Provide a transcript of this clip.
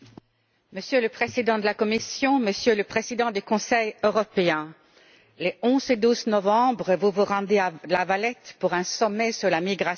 Monsieur le Président de la Commission, Monsieur le Président du Conseil européen, les 11 et 12 novembre, vous vous rendrez à La Valette pour un sommet sur la migration.